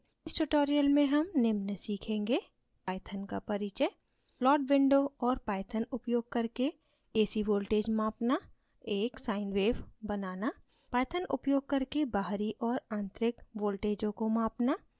इस tutorial में हम निम्न सीखेंगे: